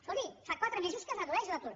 escolti fa quatre mesos que es redueix l’atur